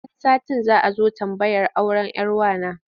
Wani satin za a zo tambayar auren 'yar wa na.